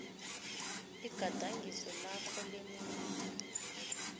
igadangiso lakho lemino